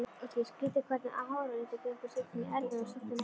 Skrýtið hvernig háralitur gengur stundum í erfðir og stundum ekki.